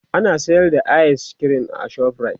ana sayar da ayis kirim a shoprite